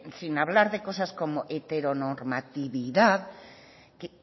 sin hablar de cosas como heteronormatividad